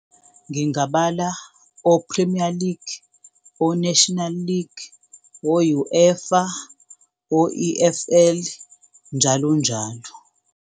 Ngingabala o-Premier League, o-National League, o-UEFA, o-E_F_L, njalo njalo.